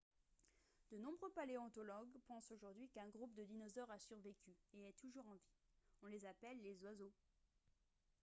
de nombreux paléontologues pensent aujourd'hui qu'un groupe de dinosaures a survécu et est toujours en vie on les appelle les oiseaux